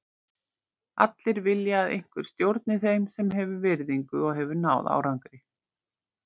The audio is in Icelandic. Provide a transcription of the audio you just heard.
Allir vilja að einhver stjórni þeim sem hefur virðingu og hefur náð árangri.